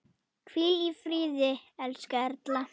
Hvíl í friði, elsku Erla.